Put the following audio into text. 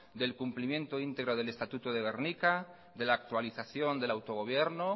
del cumplimiento íntegro del estatuto de gernika de la actualización del autogobierno